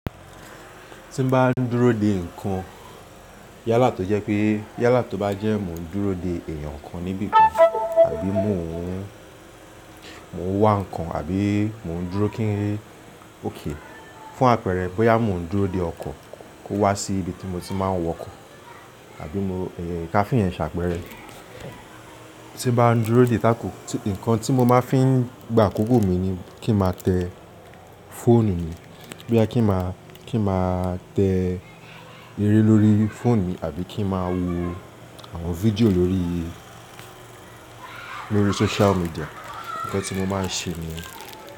Tí n bá ń dúró de nǹkan yálà tó jẹ́ pé, yálà tó bá jẹ́ mò ń dúró de èèyàn kan níbi kan àbí mò ń wá nǹkan àbí mò ń dúró kí okay, fún àpẹẹrẹ bóyá mò ń dúró de ọkọ̀ kó wá sí ibi tí mo ti máa ń wọkọ̀ àbí mo, ká fí ìyẹn ṣàpẹẹrẹ. Tí n bá ń dúró de tako, nǹkan tí mo máa fi ń gba àkókò mi ni kí n máa tẹ fóònù mi. Bóyá kí n máa tẹ eré lórí fóònù mi àbí kí n máa wo àwọn fídíò lórí, lórí social media. Ǹkan tí mo máa ń ṣe niyẹn.